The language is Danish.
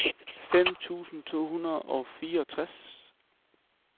fem tusind to hundrede og fireogtres